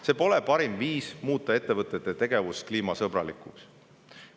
See pole parim viis muuta ettevõtete tegevust kliimasõbralikuks.